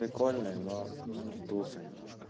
прикольный но он вздулся немножко